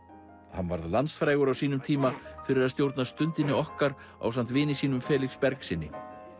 hann varð landsfrægur á sínum tíma fyrir að stjórna Stundinni okkar ásamt vini sínum Felix Bergssyni